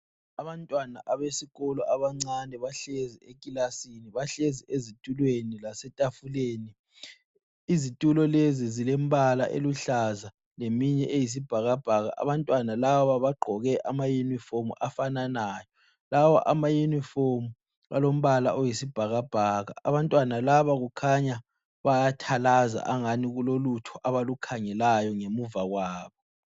Abantwana abesikolo abancane bahlezi ekilasini. Bahlezi ezitulweni lasetafuleni. Izitulo lezi zilembala eluhlaza leminye eyisibhakabhaka. Abantwana laba bagqoke amayunifomu afananayo. Lawa amayunifomu alombala oyisibhakabhaka. Abantwana laba kukhanya bayathalaza angani kulolutho abalukhangelayo ngemuva kwabo.